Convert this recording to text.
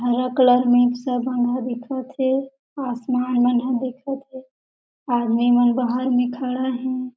हरा कलर में मिक्स बंधा दिखत हे आसमान मन ह दिखत हे आदमी मन बाहर में खड़ा हे।